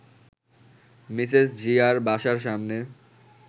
Mrs জিয়ার বাসার সামনে